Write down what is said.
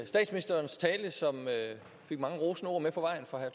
statsministerens tale som fik mange rosende ord med på vejen fra herre